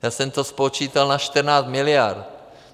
- Já jsem to spočítal na 14 miliard.